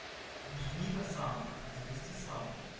нажми на сам запусти сам